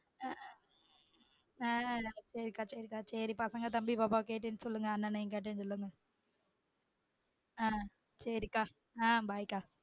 ஆஹ் சேரிக்கா சேரிக்கா சேரிக்கா சேரி பசங்க தம்பி பாப்பா கேட்டேன்னு சொல்லுங்க அண்ணனையும் கேட்டேன்னு சொல்லுங்க ஆஹ் சேர் சேரிக்கா bye ஆஹ் bye க்கா